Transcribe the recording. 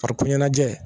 Farikolo ɲɛnajɛ